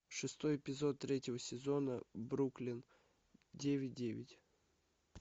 шестой эпизод третьего сезона бруклин девять девять